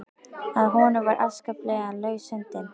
Að honum var afskaplega laus höndin.